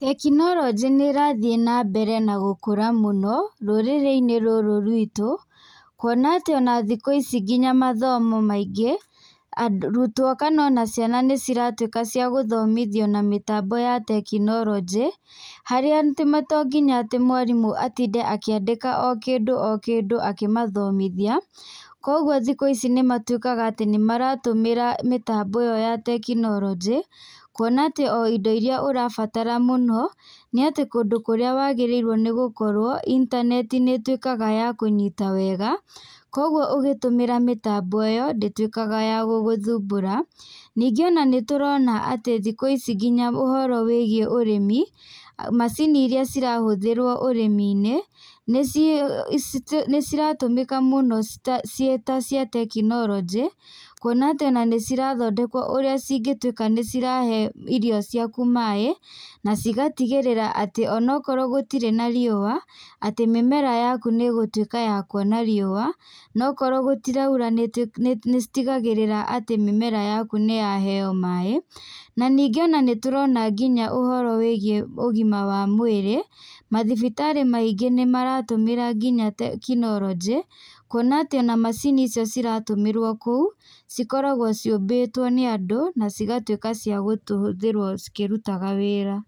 Tekinoronjĩ nĩrathiĩ na mbere gũkũra mũno rũrĩrĩ-inĩ rũrũ rwĩtũ, kuona atĩ ona thikũ ici ona mathomo maingĩ, arutwo ona kana ciana nĩciratuĩka ciagũthomithio na mĩtambo ya tekinoronjĩ, harĩa atĩ to nginya mwarimũ atinde akĩandĩka o kĩndũ o kĩndũ akĩmathomithia, koguo thikũ ici nĩmatuĩkaga atĩ nĩmaratũmĩra ĩo ya tekinoronjĩ kuona atĩ o indo irĩa ũrabatara mũno, nĩ atĩ kũndũ kũrĩa wagĩrĩirwo nĩ gũkorwo intaneti nĩĩtuĩkaga ya kũnyita wega, koguo ũgĩtũmĩra mĩtambo ĩyo ndĩtuĩkaga ya gũgũthumbũra, ningĩ ona nĩtũrona atĩ thikũ ici ngina ũhoro wĩgiĩ ũrĩmi, macini irĩa irahũthĩrwo ũrĩmi-nĩ, nĩciratũmĩka mũno ciĩ ta cia tekinoronjĩ kũona tĩ ona nĩcirathondekwo ũrĩa cingĩtuĩka nĩcirahe irio ciaku maĩ na cigatigĩrĩra atĩ ona akorwo gũtirĩ na riũa, atĩ mĩmera yaku nĩgũtuĩka ya kuona riũa, no okorwo gũtiraura nĩcitigagĩrĩra atĩ mĩmera yaku nĩ ya heyo maĩ. Na ningĩ ona nĩtũrona nginya ũhoro wĩgiĩ ũgima wa mwĩrĩ, mathibitarĩ maingĩ nĩmaratũmĩra nginya tekinoronjĩ, kuona atĩ ona macini icio iratũmĩrwo kũu cikoragwo ciũmbĩtwo nĩ andũ na cigatuĩka ciakũhũthĩrwo cikĩrutaga wĩra.